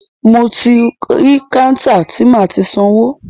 Mo ti rí kántà ti máa ti sanwó.